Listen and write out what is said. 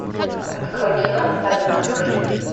открой кино под маской